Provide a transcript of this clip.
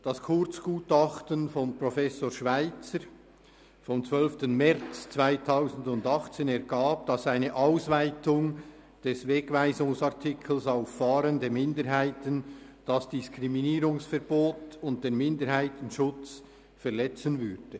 Das Kurzgutachten von Professor Schweizer vom 12. März 2018 hat ergeben, dass eine Ausweitung des Wegweisungsartikels auf fahrende Minderheiten das Diskriminierungsverbot und den Minderheitenschutz verletzen würde.